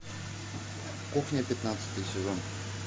кухня пятнадцатый сезон